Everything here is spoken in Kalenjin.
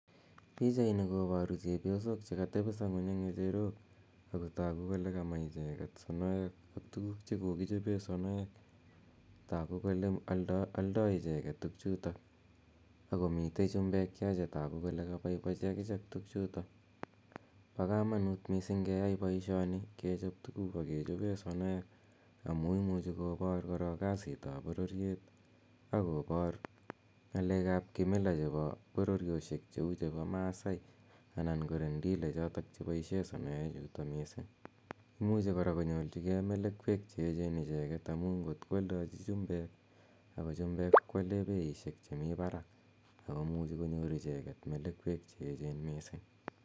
Pichaini koparu chepyosok che katepisa ng'uny eng' ng'echerok ako tagu kole kama icheget sonoek ak tuguuk che kokichope sonoek. Tagu kole aldai icheget tugchutok ako moitei chumbek yo che tagu kole kapaipachi akichek tugchutok. Pa kamanut missing' keyai poishoni , kechop tuguk ak kechope sonoek amu imuchi kopar korok kasit ap pororiet ak kopar ng'alek ap kimila chepo pororioshek che u chepo Masai anan ko Rendile chotok che paishe sonoechutok missing'. Imuci kora konyorchigei melekwek che echen icheget amu ngot ko aldaji chumbek , ako chumbek ko ale peishek chemi parak, ko muchi konyor icheget melekwek che echen missing'.